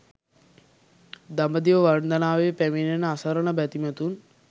දඹදිව වන්දනාවේ පැමිණෙන අසරණ බැතිමතුන්